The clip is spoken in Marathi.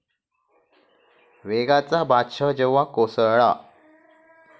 वेगाचा बादशाह जेव्हा कोसळला